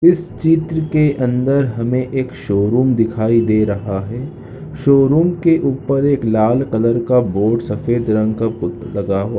चित्र के अंदर हमें एक शो रूम दिखाई दे रहा है शो रूम के अंदर एक लाल कलर का बोर्ड़ सफ़ेद रंग का पूत लगा हुआ है ।